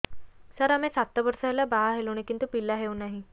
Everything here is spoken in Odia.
ସାର ଆମେ ସାତ ବର୍ଷ ହେଲା ବାହା ହେଲୁଣି କିନ୍ତୁ ପିଲା ହେଉନାହିଁ